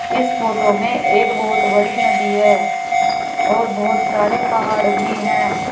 इस फोटो में एक बहोत बड़ी नदी है और बहोत सारे पहाड़ भी हैं।